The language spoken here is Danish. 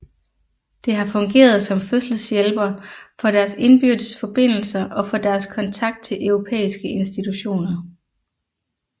Det har fungeret som fødselshjælper for deres indbyrdes forbindelser og for deres kontakt til europæiske institutioner